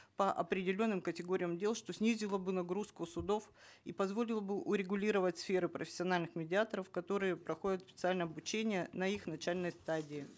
по определенным категориям дел что снизило бы нагрузку с судов и позволило бы урегулировать сферу профессиональных медиаторов которые проходят специальное обучение на их начальной стадии